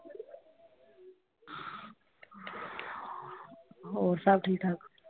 ਹੋਰ ਸਭ ਠੀਕ ਠਾਕ?